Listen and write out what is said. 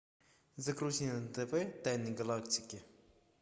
загрузи на тв тайны галактики